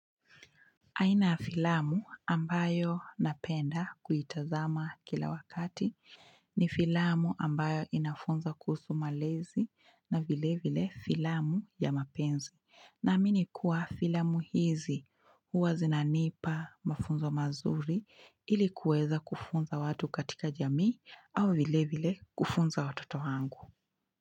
Aina ya filamu ambayo napenda kuitazama kila wakati ni filamu ambayo inafunza kuhusu malezi na vilevile filamu ya mapenzi. Naamini kuwa filamu hizi huwa zinanipa mafunzo mazuri ili kuweza kufunza watu katika jamii au vilevile kufunza watoto wangu.